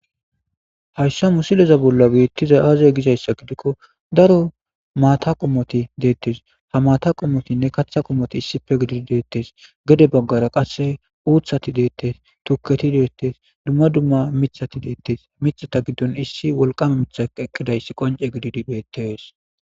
Hayissa misilezza bolla betizayi azee Gizayissa gidikko ,daro mata qommoti de'etes.haa mata qommotinne kaththa qommoti issippe gididi deetes.gede bagara qase uththayi detees,tuketti detees, dumma dumma miththati detees.miththata gaththanni issi woliqama miththi adhdhi adhdhi eqidayissa qoncce gididi betees.